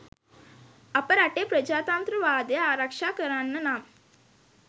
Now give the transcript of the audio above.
අප රටේ ප්‍රජාතන්ත්‍රවාදය ආරක්‌ෂා කරන්න නම්